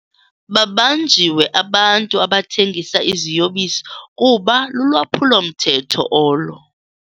Babanjiwe abantu abathengisa iziyobisi kuba lulwaphulo-mthetho olo.